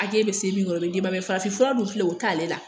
Age be se min kɔrɔ o be d'e ma mɛ farafinfura dun filɛ o t'ale la